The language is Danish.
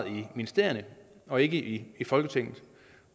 i ministerierne og ikke i folketinget